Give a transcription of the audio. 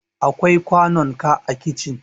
akwai kwanunka a kicin